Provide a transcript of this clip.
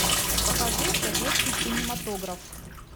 покажи советский кинематограф